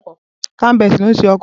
Carl Benz ni ó ṣe ọkọ̀